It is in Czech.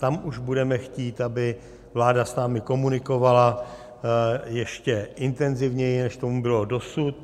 Tam už budeme chtít, aby vláda s námi komunikovala ještě intenzivněji, než tomu bylo dosud.